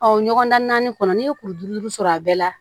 ɲɔgɔn dan naani kɔnɔ n'i ye kuru duru sɔrɔ a bɛɛ la